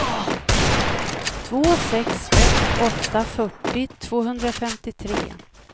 två sex ett åtta fyrtio tvåhundrafemtiotre